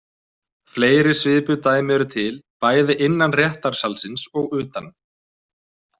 Fleiri svipuð dæmi eru til, bæði innan réttarsalarins og utan.